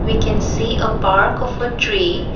we can see a park of a tree.